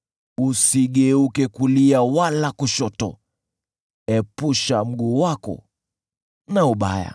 Usigeuke kulia wala kushoto; epusha mguu wako na ubaya.